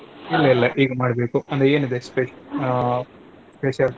ಇಲ್ಲ ಇಲ್ಲ ಈಗ ಮಾಡ್ಬೇಕು ಅಂದ್ರೆ ಏನಿದೆ ಸ್ಪೆಶ್~ ಹ special ?